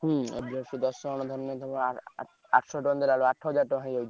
ହଁ ସେଇଦଶଜଣ ଧରିଲେ ଧର ଆଠଶହ ଦେଲାବେଳକୁ ଆଠ ହଜାର ହେଇଯାଉଛି।